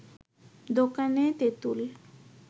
দোকানে তেঁতুল